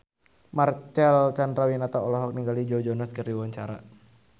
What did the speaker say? Marcel Chandrawinata olohok ningali Joe Jonas keur diwawancara